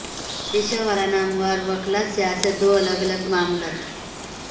پیشہ وارانہ امور اور وکلا سیاست دو الگ الگ معاملات